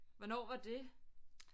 Hvornår var det